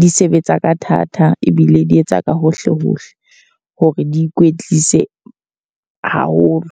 di sebetsa ka thata ebile di etsa ka hohle hohle hore di ikwetlise haholo.